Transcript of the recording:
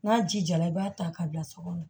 N'a ji jara i b'a ta ka bila so kɔnɔ